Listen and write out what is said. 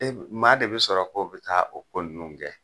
E b maa de be sɔrɔ k'o be taa o ko nunnu kɛ?